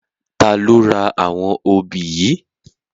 Tà ló rá áwòn óbi yi?